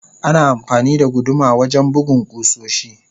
Ana amfani da guduma wajen bugun kusoshi.